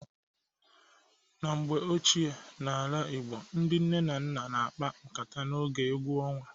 Na mgbe ochie n'ala igbo, ndi nne na nna na-akpa nkata n'oge egwu ọnwa.